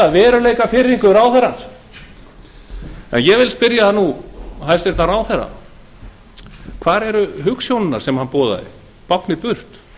veruleikafirringu ráðherrans ég spyr hæstvirtur ráðherra hvar eru hugsjónirnar sem hann boðaði báknið burt